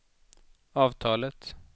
avtalet